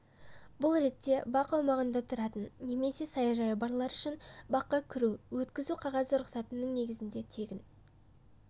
бұл ретте бақ аумағында тұратын немесе саяжайы барлар үшін баққа кіру өткізу рұқсат қағазының негізінде тегін